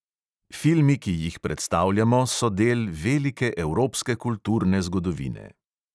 Filmi, ki jih predstavljamo, so del velike evropske kulturne zgodovine.